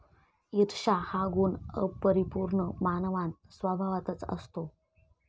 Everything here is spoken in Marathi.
ईर्ष्या हा गुण अपरिपूर्ण मानवांत स्वभावतःच असतो.